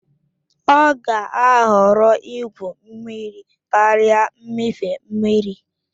Ọ ga-ahọrọ igwu mmiri karịa mmịfe mmiri